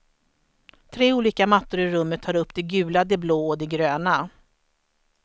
Tre olika mattor i rummet tar upp det gula, det blå och det gröna.